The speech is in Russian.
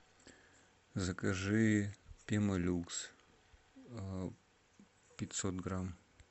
закажи пемолюкс пятьсот грамм